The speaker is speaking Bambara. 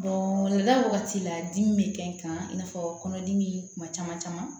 Donda wagati la dimi bɛ kɛ n kan i n'a fɔ kɔnɔdimi kuma caman caman